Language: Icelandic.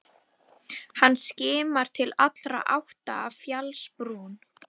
Hann skimar til allra átta af fjallsbrún.